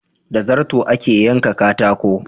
Da zarto ake yanka katako.